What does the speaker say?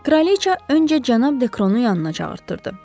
Kraliçə öncə cənab Dekronun yanına çağırtdırdı.